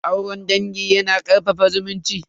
Auren dangi yana karfafa zumunci.